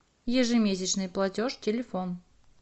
ежемесячный платеж телефон